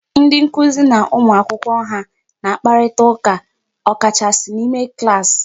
Ndị nkụzi na ụmụ akwụkwọ ha na-akparịta ụka ọ kachasị n'ime klaasị.